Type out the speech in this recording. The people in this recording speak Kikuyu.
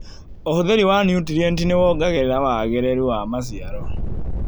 ũhũthĩri wa nutrienti nĩwongagĩrĩra wagĩrĩru wa maciaro.